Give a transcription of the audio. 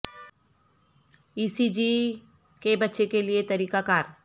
ای C G کے بچے کے لئے طریقہ کار